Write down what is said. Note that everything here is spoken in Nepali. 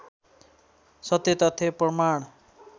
सत्य तथ्य प्रमाण